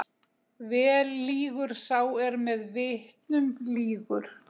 Vel lýgur sá er með vitnum lýgur.